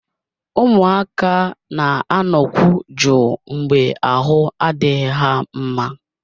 Ụmụaka na-anọkwu jụụ mgbe ahụ adịghị ha mma